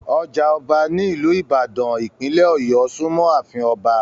Ọjà ọba ní ìlú ìbàdàn, ìpínlẹ̀ ọ̀yọ́ súnmọ́ àfin Ọba